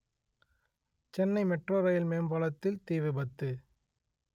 Chennai metro rail மேம்பாலத்தில் தீ விபத்து